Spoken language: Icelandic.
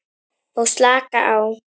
Og slakar á.